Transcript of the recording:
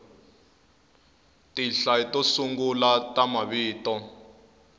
tinhla to sungula ta mavito